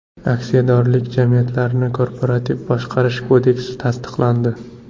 Aksiyadorlik jamiyatlarini korporativ boshqarish kodeksi tasdiqlandi.